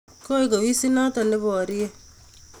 Koek ofisinoto neborie